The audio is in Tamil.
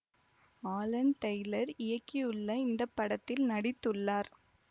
ஆலன் டெய்லர் இயக்கியுள்ள இந்த படத்தில் நடித்துள்ளார்